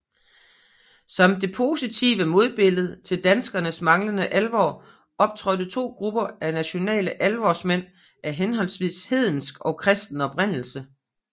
Som det positive modbillede til danskernes manglende alvor optrådte to grupper af nationale alvorsmænd af henholdsvis hedensk og kristen oprindelse